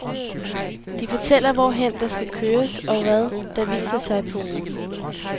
De fortæller, hvorhen der skal køres og hvad, der viser sig på ruten.